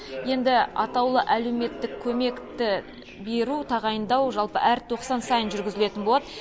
енді атаулы әлеуметтік көмекті беру тағайындау жалпы әр тоқсан сайын жүргізілетін болады